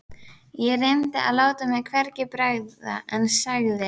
Ég reyndi að láta mér hvergi bregða en sagði